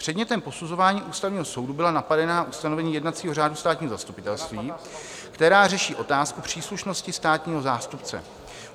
Předmětem posuzování Ústavního soudu byla napadená ustanovení jednacího řádu státního zastupitelství, která řeší otázku příslušnosti státního zástupce.